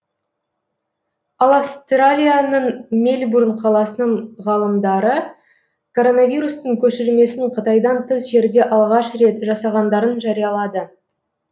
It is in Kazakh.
ал австралияның мельбурн қаласының ғалымдары коронавирустың көшірмесін қытайдан тыс жерде алғаш рет жасағандарын жариялады